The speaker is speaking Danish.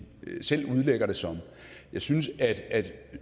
selv udlægger det som jeg synes at